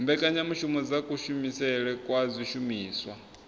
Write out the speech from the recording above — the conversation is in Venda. mbekanyamushumo dza kushumisele kwa zwishumiswa